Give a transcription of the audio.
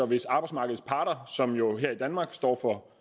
hvis arbejdsmarkedets parter som jo her i danmark står for